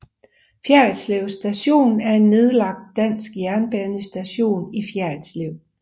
Fjerritslev Station er en nedlagt dansk jernbanestation i Fjerritslev